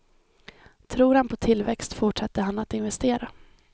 Tror han på tillväxt fortsätter han att investera.